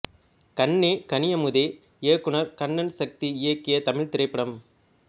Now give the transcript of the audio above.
கண்ணே கனியமுதே இயக்குனர் கண்ணன் சக்தி இயக்கிய தமிழ்த் திரைப்படம்